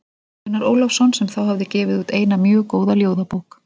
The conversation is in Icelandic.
Gunnar Ólafsson sem þá hafði gefið út eina mjög góða ljóðabók.